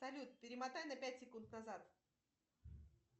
салют перемотай на пять секунд назад